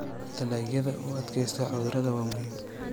Dalagyada u adkaysta cudurrada waa muhiim.